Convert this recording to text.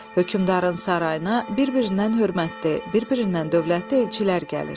Hökmdarın sarayına bir-birindən hörmətli, bir-birindən dövlətli elçilər gəlir.